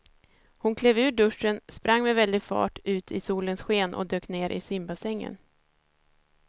Hon klev ur duschen, sprang med väldig fart ut i solens sken och dök ner i simbassängen.